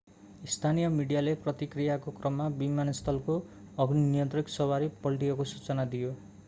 स्थानीय मिडियाले प्रतिक्रियाको क्रममा विमानस्थलको अग्नि नियन्त्रक सवारी पल्टिएको सूचना दियो